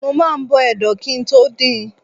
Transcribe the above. Mo máa ń bọ ẹdo kí i tó din.